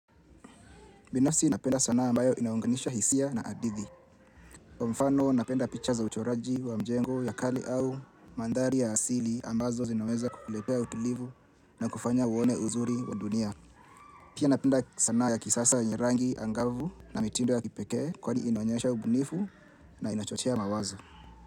Binafsi napenda sana ambayo inaunganisha hisia na hadithi. Kwa mfano napenda picha za uchoraji wa mjengo ya kali au mandhari ya asili ambazo zinaweza kukuletea utulivu na kufanya uone uzuri wa dunia. Pia napenda sanaa ya kisasa yenye rangi angavu na mitindo ya kipekee kwani inaonyesha ubunifu na inachochea mawazo.